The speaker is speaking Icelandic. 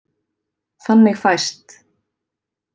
Þannig fæst: